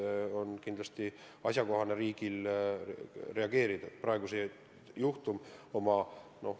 Riigil on kindlasti asjakohane reageerida võimalikult varases faasis.